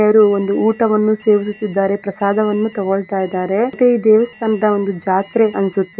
ಯಾರೋ ಒಂದು ಊಟವನ್ನು ಸೇವಿಸುತ್ತಿದ್ದರೆ ಪ್ರಸಾದವನ್ನು ತಗೊಳ್ತಾ ಇದ್ದಾರೆ ಮತ್ತೆ ಇದು ಒಂದು ದೇವಸ್ಥಾನ ಜಾತ್ರೆ ಅನ್ಸುತ್ತೆ.